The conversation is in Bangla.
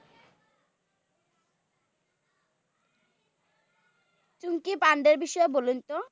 চাঙ্কি পান্ডের বিষয়ে বলুন তো?